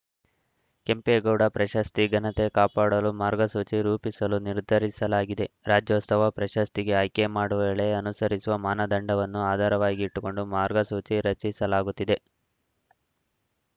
ಕೆಂಪೇಗೌಡ ಪ್ರಶಸ್ತಿ ಘನತೆ ಕಾಪಾಡಲು ಮಾರ್ಗಸೂಚಿ ರೂಪಿಸಲು ನಿರ್ಧರಿಸಲಾಗಿದೆ ರಾಜ್ಯೋತ್ಸವ ಪ್ರಶಸ್ತಿಗೆ ಆಯ್ಕೆ ಮಾಡುವ ವೇಳೆ ಅನುಸರಿಸುವ ಮಾನದಂಡವನ್ನು ಆಧಾರವಾಗಿಟ್ಟುಕೊಂಡು ಮಾರ್ಗಸೂಚಿ ರಚಿಸಲಾಗುತ್ತಿದೆ